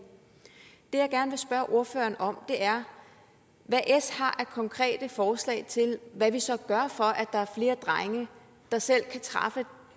det jeg gerne vil spørge ordføreren om er hvad s har af konkrete forslag til hvad vi så gør for at der er flere drenge der selv kan træffe